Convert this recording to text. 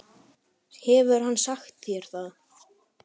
Hefur hann sagt þér það?